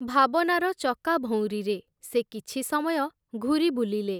ଭାବନାର ଚକାଭଉଁରିରେ, ସେ କିଛି ସମୟ ଘୂରିବୁଲିଲେ ।